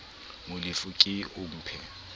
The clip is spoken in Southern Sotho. molefi o ke o mphe